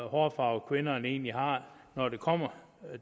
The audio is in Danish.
hårfarve kvinderne egentlig har når det kommer